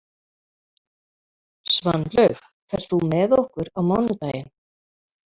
Svanlaug, ferð þú með okkur á mánudaginn?